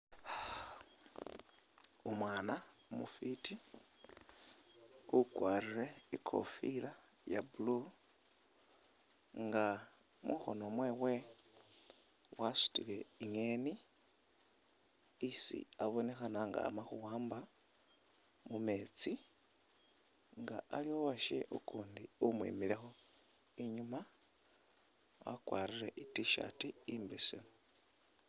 Umwana umufiti ukwarire ikofila iya blue nga mukhono mwewe wasutile ingeni isi abonekhana nga ama khuwamba mumetsi nga aliwo uwashewe ukundi umwimilekho inyuma wakwarire i T'shirt imbesemu.